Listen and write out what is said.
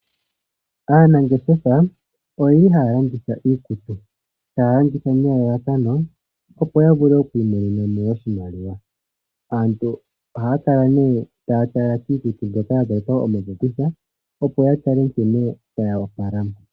Aanangeshefa oyeli haya landitha iikutu, taya landitha nelalakano opo yavule okwiimonenamo oshimaliwa. Aantu ohaya kala nee taya tala kiikutu mbyoka yazalekwa omapopitha opo yatale nkene yoopala.